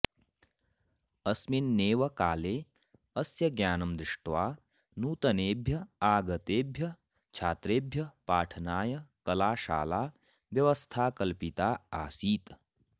अस्मिन्नेव काले अस्य ज्ञानं दृष्ट्वा नूतनेभ्यः आगतेभ्यः छात्रेभ्यः पाठनाय कलाशाला व्यवस्थाकल्पिता आसीत्